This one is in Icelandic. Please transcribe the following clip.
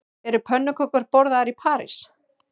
Eru pönnukökur borðaðar í París